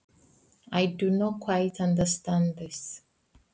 Ég skil þetta ekki alveg.